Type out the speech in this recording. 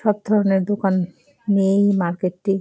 সব ধরণের দোকান মেন মার্কেট -টি।